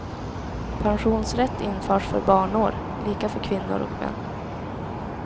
Pensionsrätt införs för barnår, lika för kvinnor och män.